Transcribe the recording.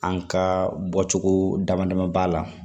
An ka bɔcogo dama dama b'a la